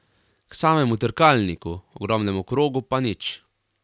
K samemu trkalniku, ogromnemu krogu, pa nič.